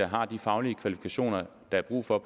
har de faglige kvalifikationer der er brug for